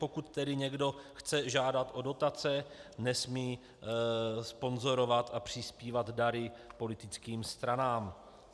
Pokud tedy někdo chce žádat o dotace, nesmí sponzorovat a přispívat dary politickým stranám.